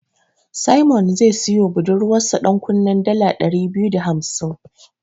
Simon zai siyowa budurwarsa ɗankunnen dala ɗari biyu da hamsin.